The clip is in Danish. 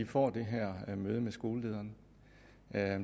får det her møde med skolelederen